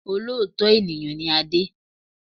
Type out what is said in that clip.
Olóòótọ́ ènìyàn ni Adé